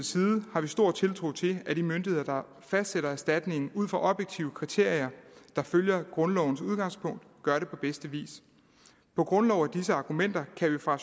side har vi stor tiltro til at de myndigheder der fastsætter erstatningen ud fra objektive kriterier der følger grundlovens udgangspunkt gør det på bedste vis på grundlag af disse argumenter kan vi fra